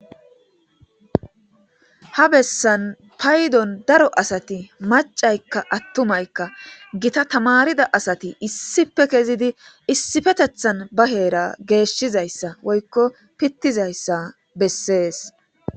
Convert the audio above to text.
ha bessan paydon daro asati macaykka attumaykka gita tamarida asati issipe kezidi issifetethan baheera geeshshizayssa woykko pittizayssa bessees